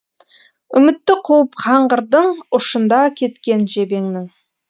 үмітті қуып қаңғырдың ұшында кеткен жебеңнің